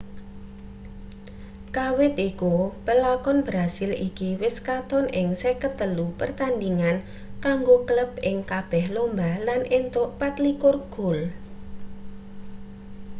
kawit iku pelakon brasil iki wis katon ing 53 pertandhingan kanggo klub ing kabeh lomba lan entuk 24 gol